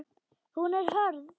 Hún er hörð.